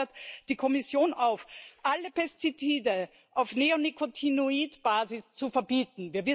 Diese fordert die Kommission auf, alle Pestizide auf Neonikotinoidbasis zu verbieten.